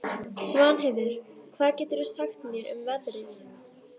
Svanheiður, hvað geturðu sagt mér um veðrið?